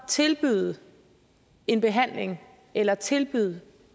tilbyde en behandling eller tilbyde